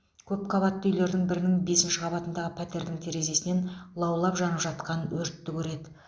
көп қабатты үйлердің бірінің бесінші қабатындағы пәтердің терезесінен лаулап жанып жатқан өртті көреді